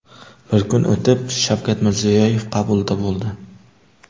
Bir kun o‘tib Shavkat Mirziyoyev qabulida bo‘ldi.